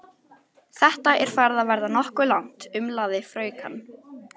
Þetta er farið að verða nokkuð langt, umlaði fraukan.